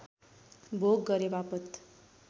भोग गरेवापत